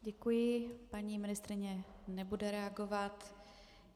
Děkuji, paní ministryně nebude reagovat.